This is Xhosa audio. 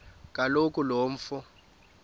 kaloku lo mfo